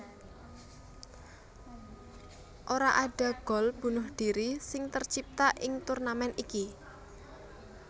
Ora ada gol bunuh diri sing tercipta ing turnamèn iki